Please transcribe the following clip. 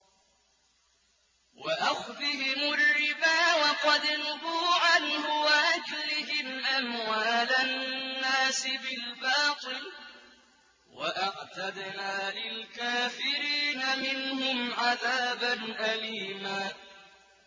وَأَخْذِهِمُ الرِّبَا وَقَدْ نُهُوا عَنْهُ وَأَكْلِهِمْ أَمْوَالَ النَّاسِ بِالْبَاطِلِ ۚ وَأَعْتَدْنَا لِلْكَافِرِينَ مِنْهُمْ عَذَابًا أَلِيمًا